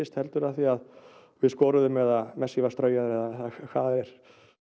heldur af því að við skoruðum eða messi var straujaður eða hvað það er